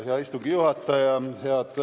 Hea istungi juhataja!